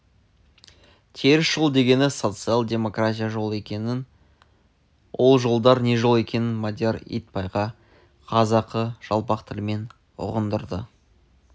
теріс жол дегені социал-демократия жолы екенін ол жолдар не жол екенін мадияр итбайға қазақы жалпақ тілмен ұғындырды